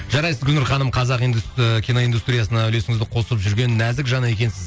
жарайсың гүлнұр ханым қазақ ыыы киноиндустриясына үлесіңізді қосып жүрген нәзік жан екенсіз